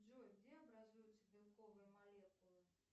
джой где образуются белковые молекулы